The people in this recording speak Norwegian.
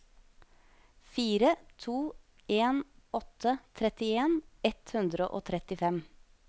fire to en åtte trettien ett hundre og trettifem